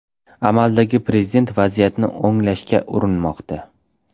Amaldagi prezident vaziyatni o‘nglashga urinmoqda.